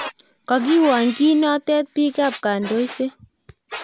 kokiwony kiinoto biik ab kondosiet